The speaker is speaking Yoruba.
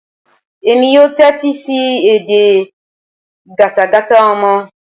Èmi yóò tẹ́tí sí edè gátagàta ọmọ.